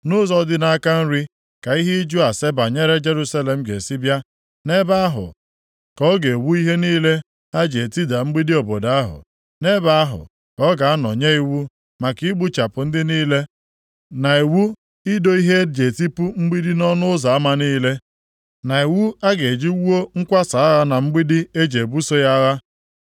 Nʼụzọ dị nʼaka nri, ka ihe ịjụ ase banyere Jerusalem ga-esi bịa. Nʼebe ahụ ka ọ ga-ewu ihe niile ha ji etida mgbidi obodo ahụ. Nʼebe ahụ ka ọ ga-anọ nye iwu maka igbuchapụ ndị niile, na iwu ido ihe e ji etipu mgbidi nʼọnụ ụzọ ama niile, na iwu a ga-eji wuo nkwasa agha na mgbidi e ji ebuso ya agha.